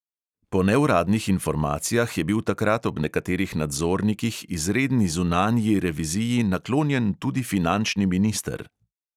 Po neuradnih informacijah je bil takrat ob nekaterih nadzornikih izredni zunanji reviziji naklonjen tudi finančni minister.